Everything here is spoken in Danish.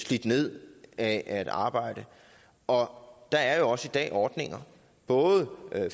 slidt ned af at arbejde og der er jo også i dag ordninger både